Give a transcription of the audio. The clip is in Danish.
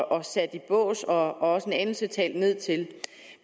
sat i bås og også en anelse talt ned til